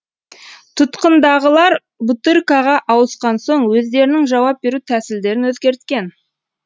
тұтқындағылар бутыркаға ауысқан соң өздерінің жауап беру тәсілдерін өзгерткен